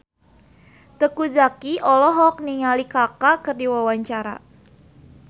Teuku Zacky olohok ningali Kaka keur diwawancara